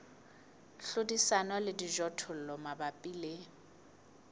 hlodisana le dijothollo mabapi le